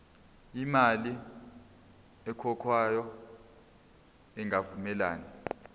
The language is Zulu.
imali ekhokhwayo ingavumelani